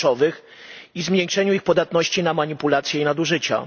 kluczowych i zmniejszeniu ich podatności na manipulacje i nadużycia.